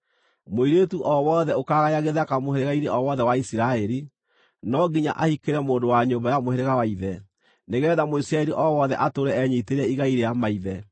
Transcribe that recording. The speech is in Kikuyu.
Mũirĩtu o wothe ũkaagaya gĩthaka mũhĩrĩga-inĩ o wothe wa Isiraeli, no nginya ahikĩre mũndũ wa nyũmba ya mũhĩrĩga wa ithe, nĩgeetha Mũisiraeli o wothe atũũre enyiitĩire igai rĩa maithe.